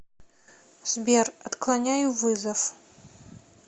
сбер отклоняю вызов